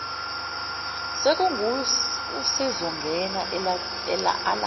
sekunguye usezongena alinde